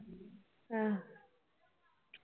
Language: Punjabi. ਆਹ